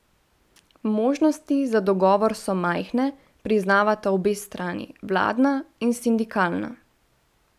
Možnosti za dogovor so majhne, priznavata obe strani, vladna in sindikalna.